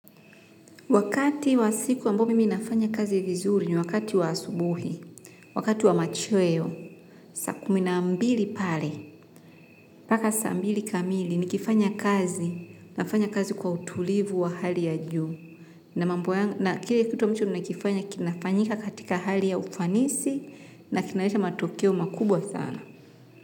Wakati wa siku ambao mimi nafanya kazi vizuri ni wakati wa asubuhi, wakati wa machweo, saa kumi na mbili pale, mpaka saa mbili kamili nikifanya kazi, nafanya kazi kwa utulivu wa hali ya juu. Na mambo yangu na kile kitu ambacho nakifanya kinafanyika katika hali ya ufanisi na kinaleta matokeo makubwa sana.